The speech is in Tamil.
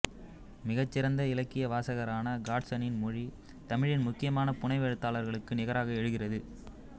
மிகச்சிறந்த இலக்கியவாசகரான காட்சனின் மொழி தமிழின் முக்கியமான புனைவெழுத்தாளர்களுக்கு நிகராக எழுகிறது